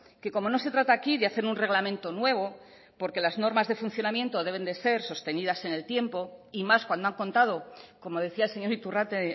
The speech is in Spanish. que como no se trata aquí de hacer un reglamento nuevo porque las normas de funcionamiento deben de ser sostenidas en el tiempo y más cuando han contado como decía el señor iturrate